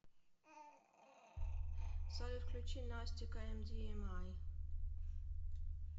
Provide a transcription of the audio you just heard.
салют включи настика эмдиэмай